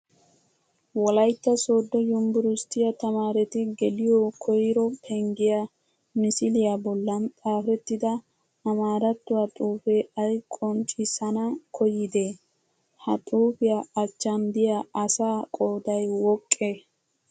Wolayitta soddo yunbburusttiyaa tamaareti geliyoo koyiroo penggiyaa misiliyaa bollan xaapettida amaarattuwaa xuupee ayi qomccissana koyyidee? Ha xuupiyaa achchan diyaa asaa qoodayi woqqee?